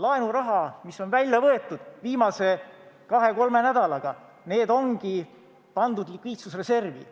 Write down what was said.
Laenuraha, mis on välja võetud viimase kahe-kolme nädalaga, ongi pandud likviidsusreservi.